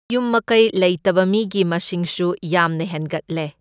ꯃꯌꯨꯝ ꯃꯀꯩ ꯂꯩꯇꯕ ꯃꯤꯒꯤ ꯃꯁꯤꯡꯁꯨ ꯌꯥꯝꯅ ꯍꯦꯟꯒꯠꯂꯦ꯫